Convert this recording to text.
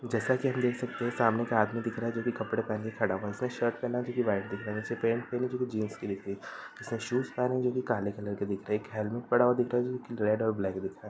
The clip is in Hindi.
जैसा कि हम देख सकते हैं सामने एक आदमी दिख रहा है जो कि कपड़े पहना खड़ा हुआ है। उसने शर्ट पहना है जो कि व्हाइट दिख रहा है। नीचे पैंट पहनी है जो कि जींस की दिख रही है। उसने शूज पहने हैं जो कि काले कलर के दिख रहे हैं। एक हेलमेट पड़ा हुआ दिख रहा है जो कि रेड और ब्लैक दिख रहा है।